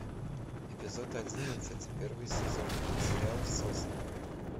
эпизод одиннадцать первый сезон сериал сосны